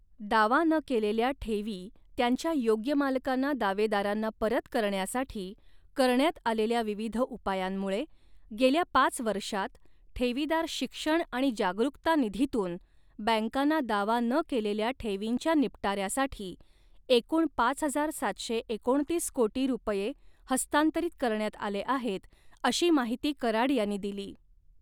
दावा न केलेल्या ठेवी त्यांच्या योग्य मालकांना दावेदारांना परत करण्यासाठी करण्यात आलेल्या विविध उपायांमुळे, गेल्या पाच वर्षांत, ठेवीदार शिक्षण आणि जागरुकता निधीतून, बँकांना दावा न केलेल्या ठेवींच्या निपटाऱ्यासाठी एकूण पाच हजार सातशे एकोणतीस कोटी रुपये हस्तांतरित करण्यात आले आहेत, अशी माहिती कराड यांनी दिली.